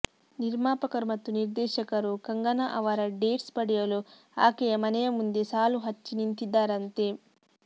ನಿರ್ಮಾಪಕರು ಮತ್ತು ನಿರ್ದೇಶಕರು ಕಂಗನಾ ಅವರ ಡೇಟ್ಸ್ ಪಡೆಯಲು ಆಕೆಯ ಮನೆಯ ಮುಂದೆ ಸಾಲು ಹಚ್ಚಿ ನಿಂತಿದ್ದಾರಂತೆ